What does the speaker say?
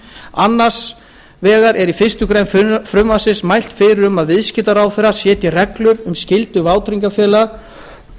annars vegar er í fyrstu grein frumvarpsins mælt fyrir um að viðskiptaráðherra setji reglur um skyldu vátryggingafélaga